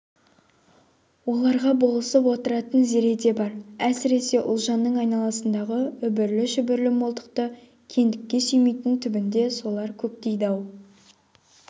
оларға болысып отыратын зере де бар әсіресе ұлжанның айналасындағы үбірлі-шүбірлі молдықты кеңдікті сүймейтін түбінде солар көктейді-ау